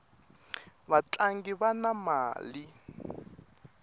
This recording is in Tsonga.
vatlangi vana mali